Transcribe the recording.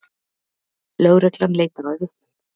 Lögreglan leitar að vitnum